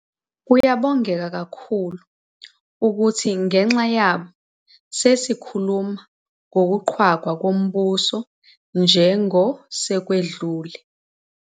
Kuyabongeka kakhulu ukuthi ngenxa yabo sesikhuluma ngokuqhwagwa kombuso njengosekwedlule.